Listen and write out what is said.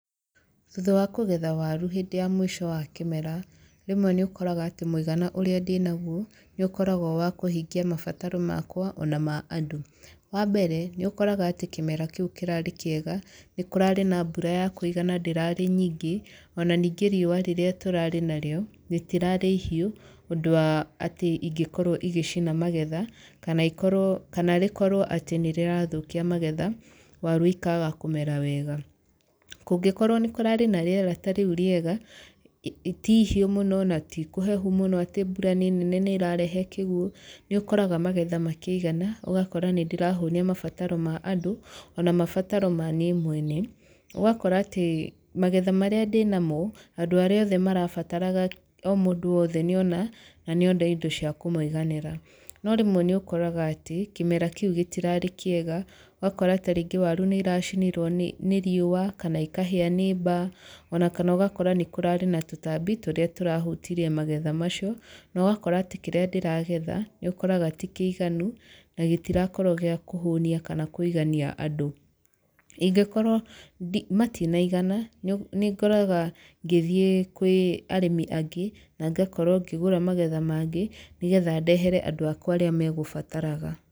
Thutha wa kũgetha waru hĩndĩ ya mũico wa kĩmera, rĩmwe nĩ ũkoraga atĩ mũigana ũrĩa ndĩnaguo, nĩ ũkoragwo wa kũhingia mabataro makwa, ona ma andũ. Wa mbere, nĩ ũkoraga atĩ kĩmera kĩu kĩrarĩ kĩega, nĩ kũrarĩ na mbura ya kũigana ndĩrarĩ nyingĩ, ona ningĩ riũa rĩrĩa tũrarĩ narĩo, rĩtirarĩ ihiũ, ũndũ wa atĩ ingĩkorwo igĩcina magetha, kana ikorwo kana rĩkorwo atĩ nĩ rĩrathũkia magetha, waru ikaaga kũmera wega. Kũngĩkorwo nĩ kũrarĩ na rĩera ta rĩu rĩeaga, ti ihiũ mũno, na ti kũhehu mũno atĩ mbura nĩ nene nĩ ĩrarehe kĩguũ, nĩ ũkoraga magetha makĩigana, ũgakora nĩ ndĩrahũnia mabataro ma andũ ona mabataro ma niĩ mwene. Ũgakora atĩ magetha marĩa ndĩnamo, andũ arĩa othe marabataraga o mũndũ wothe nĩ ona, na nĩ ona indo cia kũmũiganĩra. No rĩmwe nĩ ũkoraga atĩ, kĩmera kĩu gĩtirarĩ kĩega, ũgakora tarĩngĩ waru nĩ iracinirwo nĩ nĩ riũa, kana ikahĩa nĩ mbaa, ona kana ũgakora nĩ kũrarĩ na tũtambi tũrĩa tũrahutirie magetha macio. Na ũgakora atĩ kĩrĩa ndĩragetha, nĩ ũkoraga ti kĩiganu, na gĩtirakorwo gĩa kũhũnia kana kũigania andũ. Ingĩkorwo matinaigana, nĩ nĩ ngoraga ngĩthiĩ kwĩ arĩmi angĩ, na ngakorwo ngĩgũra magetha mangĩ, nĩgetha ndehere andũ akwa arĩa megũbataraga.